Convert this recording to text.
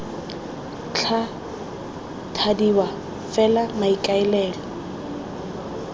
tla thadiwa f fela maikaelelo